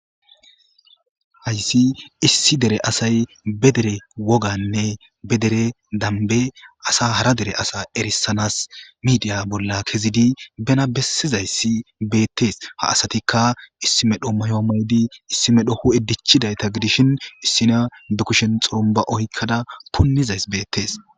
hayssi issi dere asay be dere woganne be dere dambe asa hara dere asa erissanas midiya bolla kezidi bena bessizayssi beettees ha asatikka issi medho mayo moydi issi medho ho7e dichidayta gidishin issina de kushin xurumba oykkada punnizays beettees